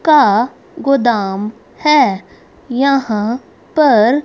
का गोदाम है यहां पर--